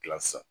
Kila sisan